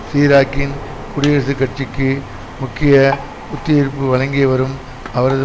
சிராக்கின் குடியரசுக் கட்சிக்கு முக்கிய புத்துயிர்ப்பு வழங்கியவரும் அவரது